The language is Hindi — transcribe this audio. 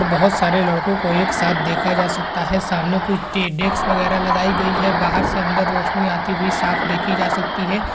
बहोत सारे लड़को को एक साथ देखा जा सकता हैं| सामने कुछ डे डेस्क वगेरा लगायी गयी हैं| बाहर से अन्दर रोशनी आती हुई साफ देखी जा सकती है।